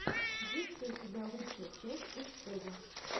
есть ли у тебя лучшая часть пучкова